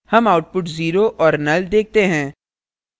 हम output zero और null देखते हैं